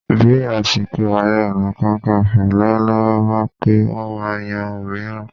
Bí àsìkò Ààrẹ Ọ̀nà Kakaǹfò lọ́wọ́lọ́wọ́ bá pé, wọ́n máa yan òmíràn